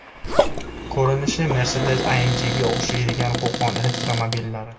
Ko‘rinishi Mercedes AMG‘ga o‘xshaydigan Qo‘qon elektromobillari.